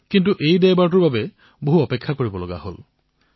কিন্তু এই দেওবাৰে বহু অপেক্ষা কৰোৱালে